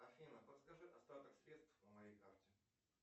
афина подскажи остаток средств на моей карте